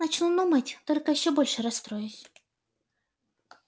начну думать только ещё больше расстроюсь